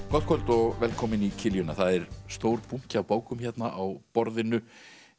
gott kvöld og velkomin í kiljuna það er stór bunki af bókum hérna á borðinu